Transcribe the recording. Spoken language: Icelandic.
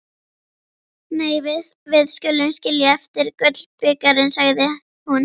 Nei, við skulum skilja eftir gullbikarinn, sagði hún.